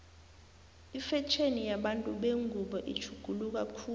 ifetjheni yabantu bengubo itjhuguluka khulu